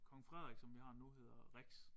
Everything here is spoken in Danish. Kong Frederik som vi har nu hedder Rex